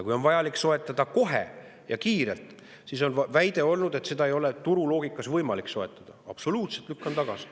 Kui on vaja soetada kohe ja kiirelt, siis tuleb väide, et seda moona ei ole turuloogika järgi võimalik soetada, absoluutselt tagasi lükata.